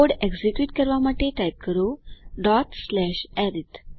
code execute કરવા માટે type કરો અરિથ